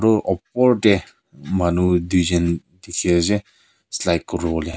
etu opor de manu duijun dikhi ase slide kuri bole.